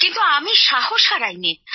কিন্তু আমি সাহস হারাইনি